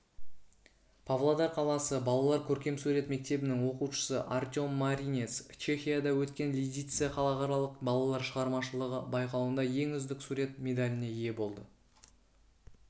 павлодар қаласы балалар көркемсурет мектебінің оқушысы артем маринец чехияда өткен лидице халықаралық балалар шығармашылығы байқауында ең үздік сурет медаліне ие болды